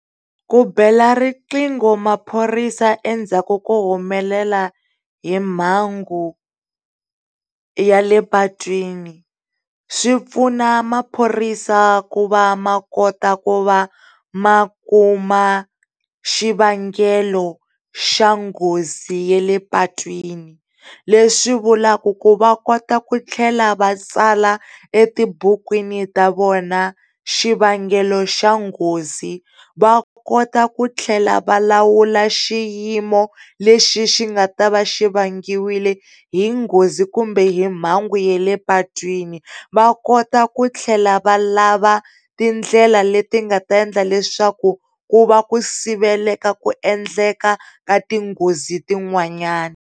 Ku bela riqingho maphorisa endzhaku ko humelela hi mhangu ya le patwini swipfuna maphorisa ku va makota ku va makuma xivangelo xa nghozi ya le patwini leswi vulaku ku va kota ku tlhela va tsala etibukwini ta vona xivangelo xa nghozi, va kota ku tlhela va lawula xiyimo lexi xi nga ta va xivangiwile hi nghozi kumbe hi mhangu ya le patwini, va kota ku tlhela va lava tindlela leti nga ta endla leswaku ku va ku siveleka ku endleka ka tinghozi tin'wanyani.